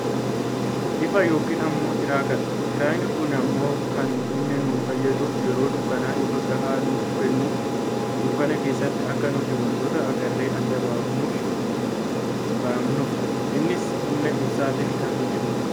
Ifaa yookaan ammoo tirkaadha. Tirkaa kun ammoo kan inni nu fayyaduuf yeroo dukkanaa ifa gahaa nuuf kennuuf dukkana keessatti akka nuti wantoota agarree adda baafannuufi. Innis humna ibsaatiin kan hojjatudha.